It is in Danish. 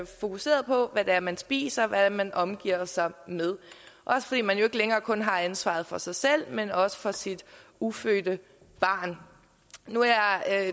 fokuseret på hvad det er man spiser og hvad man omgiver sig med også fordi man jo ikke længere kun har ansvaret for sig selv men også for sit ufødte barn nu er jeg